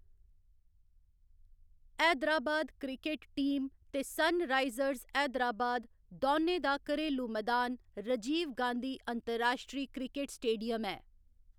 Hyderabad cricket team ते Sunrisers Hyderabad दौनें दा घरेलू मदान राजीव गांधी अंतर्राश्ट्री क्रिकेट स्टेडियम ऐ।